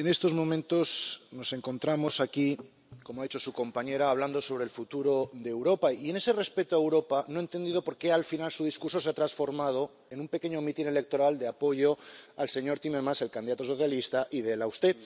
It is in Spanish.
en estos momentos nos encontramos aquí, como ha dicho su compañera, hablando sobre el futuro de Europa. Y en ese respeto a Europa, no he entendido por qué, al final, su discurso se ha transformado en un pequeño mitin electoral de apoyo al señor Timmermans, el candidato socialista, y de él a usted.